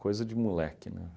Coisa de moleque, né?